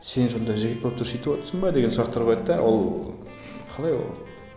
сен сонда жігіт болып тұрып сөйтіп отырсың ба деген сұрақтар қояды да ол қалай ол